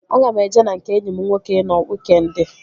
Aga m eje na nke enyi m nwoke ị nọ wiikendi